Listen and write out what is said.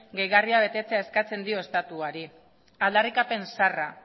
gehigarria betetzea eskatzen dio estatuari aldarrikapen zaharra